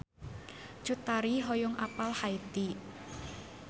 Cut Tari hoyong apal Haiti